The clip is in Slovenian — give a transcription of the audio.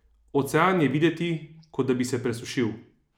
Ocean je videti, kot da bi se presušil!